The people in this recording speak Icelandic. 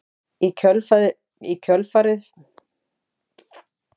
Í kjölfarið fylgdi heitur vindsveipur sem var svo öflugur að fólk kastaðist til jarðar.